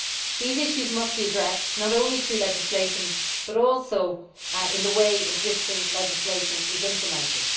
These issues must be addressed, not only through legislation, but also in the way existing legislation is implemented.